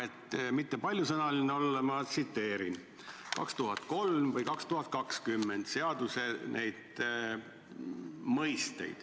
Et mitte paljasõnaline olla, ma tsiteerin 2003. ja 2020. aasta seaduse mõisteid.